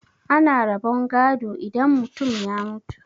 ana rabon gado idan mutum ya mutu